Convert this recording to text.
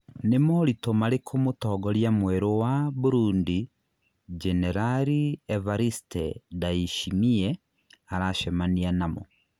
Nĩ moritũ marĩkũ Mũtongoria mwerũ wa Burundi Jenerali Evariste Ndayishimiye aracemania namo?